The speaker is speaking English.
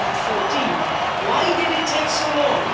2014. Why did it take so long?